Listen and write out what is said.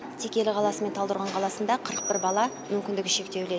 текелі қаласы мен талдықорған қаласында қырық бір бала мүмкіндігі шектеулі